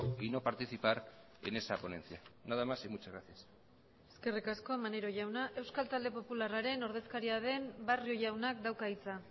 y no participar en esa ponencia nada más y muchas gracias eskerrik asko maneiro jauna euskal talde popularraren ordezkaria den barrio jaunak dauka hitza